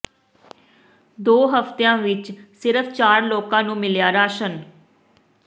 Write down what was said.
ਦੋ ਹਫ਼ਤਿਆਂ ਵਿੱਚ ਸਿਰਫ਼ ਚਾਰ ਲੋਕਾਂ ਨੂੰ ਮਿਲਿਆ ਰਾਸ਼ਨ